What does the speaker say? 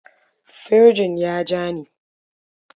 Firjin ya ja ni.